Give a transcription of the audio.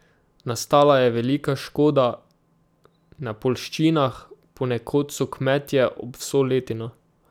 Nastala je velika škoda na poljščinah, ponekod so kmetje ob vso letino.